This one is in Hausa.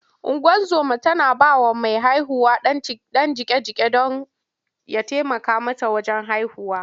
Ungozoma tana ba wa mai haihuwa ɗan jiƙe-jiƙe don ya taimaka mata wajen haihuwa.